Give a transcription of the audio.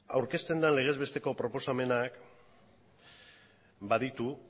aurkezten den legezbesteko proposamenak baditu